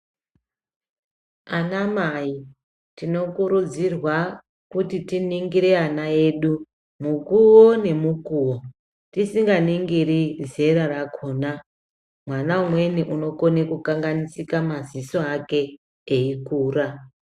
Anamai tinokurudzirwa kuti tiningire ana edu mukuwo nemukuwo tisinganingiri zera rakhona mwana umweni unokona kukanganisike maziso ake eikura.